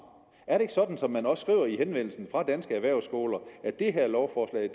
er det ikke sådan som de også skriver i henvendelsen fra danske erhvervsskoler at det her lovforslag